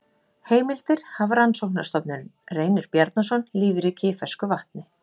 Heimildir Hafrannsóknarstofnun Reynir Bjarnason, Lífríkið í fersku vatni.